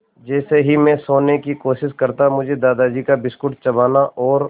जैसे ही मैं सोने की कोशिश करता मुझे दादाजी का बिस्कुट चबाना और